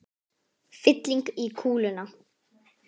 Fylling í kúluna.